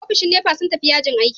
Ofishin NEPA sun tafi yajin aiki.